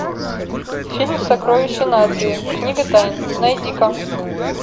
фильм сокровища нации книга тайн найди ка